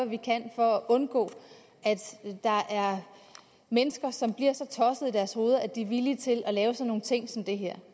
vi kan for at undgå at der er mennesker som bliver så tossede i deres hoveder at de er villige til at lave sådan nogle ting som det her